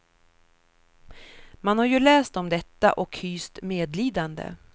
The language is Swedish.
Man har ju läst om detta, och hyst medlidande.